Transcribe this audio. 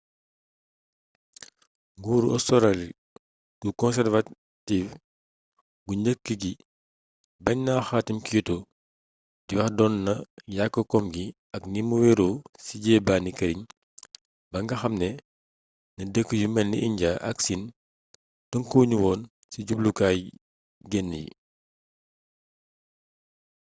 nguuru australi gu conservative gu njëkk gi baañ na xaatim kyoto di wax doon na yàkk kom gi ak ni mu weeeroo ci jeebaani këriñ ba nga xamee ne dëkk yu melni injaa ak siin tënkuwu nu woon ci jubluwaayu genne yi